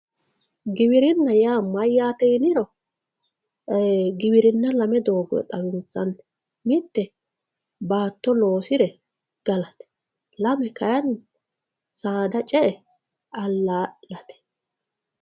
giwirinna yaa mayaate yiniro giwirinna lame dogoyi xawinsanni mitte baatto loosire galate lame kayiini saada ce'e alla'late